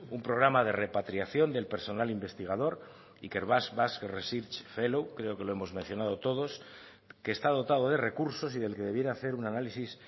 un programa de repatriación del personal de investigación horregatik ikerbasque research fellows creo que lo hemos mencionado todos que está dotado de recursos y del que debiera ser un análisis